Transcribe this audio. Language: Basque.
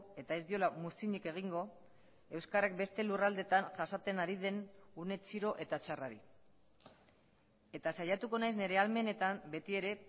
eta ez diola muzinik egingo euskarak beste lurraldeetan jasaten ari den une txiro eta txarrari eta saiatuko naiz nire ahalmenetan beti ere